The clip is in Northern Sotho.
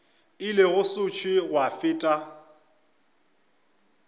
ile go sešo gwa feta